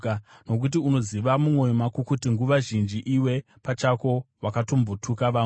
nokuti unoziva mumwoyo mako kuti nguva zhinji iwe pachako wakambotuka vamwe.